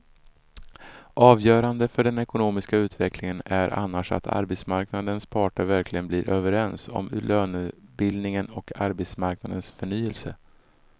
Avgörande för den ekonomiska utvecklingen är annars att arbetsmarknadens parter verkligen blir överens om lönebildningen och arbetsmarknadens förnyelse.